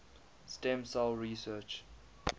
stem cell research